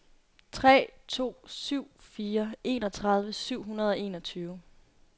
tre to syv fire enogtredive syv hundrede og enogtyve